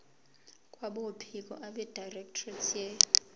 kwabophiko abedirectorate ye